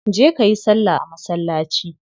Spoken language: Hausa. Je kayi salla a masallaci